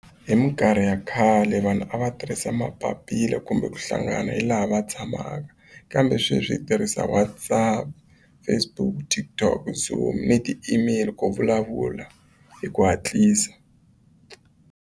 Hi mikarhi ya khale vanhu a va tirhisa mapapila kumbe ku hlangana hi laha va tshamaka kambe sweswi tirhisa WhatsApp, Facebook, TikTok, Zoom, ti-email ku vulavula hi ku hatlisa.